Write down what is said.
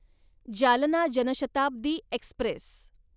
Jalna Janshatabdi Express